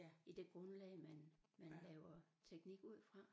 I det grundlag man man laver teknik ud fra